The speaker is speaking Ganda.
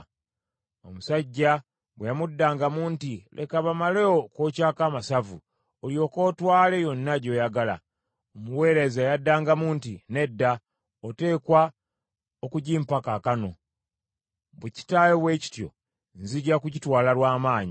Omusajja bwe yamuddangamu nti, “Leka bamale okwokyako amasavu, olyoke otwale yonna gy’oyagala,” omuweereza yaddangamu nti, “Nedda, oteekwa okugimpa kaakano, bwe kitaba bwe kityo, nzija kugitwala lw’amaanyi.”